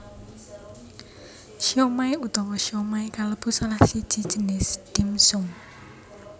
Siomai utawa siomay kalebu salah siji jinis dim sum